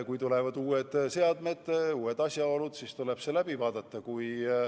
Kui tulevad uued seadmed, uued asjaolud, siis tuleb kõik uuesti üle vaadata.